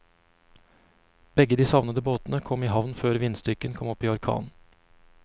Begge de savnede båtene kom i havn før vindstyrken kom opp i orkan.